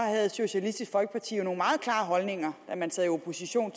havde socialistisk folkeparti jo nogle meget klare holdninger da man sad i opposition